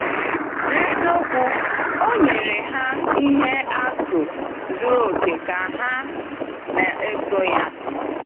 N’eziokwu, o nyere ha ihe atụ zuru oke ka ha na-eso ya.